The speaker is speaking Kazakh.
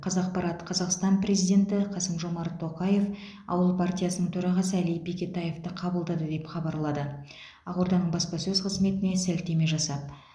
қазақпарат қазақстан президенті қасым жомарт тоқаев ауыл партиясының төрағасы әли бектаевты қабылдады деп хабарлады қазақпарат ақорданың баспасөз қызметіне сілтеме жасап